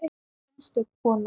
Einstök kona.